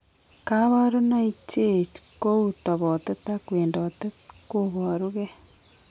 Kabarunaik cheech kou tobotet ak wendotet koboru gee